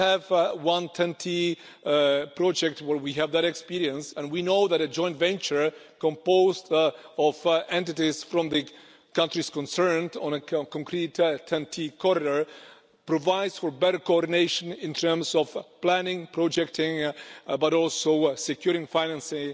We have one TEN T project where we have that experience and we know that a joint venture composed of entities from the countries concerned in a concrete TEN T corridor provides for better coordination in terms of planning and projecting, but also in securing financing,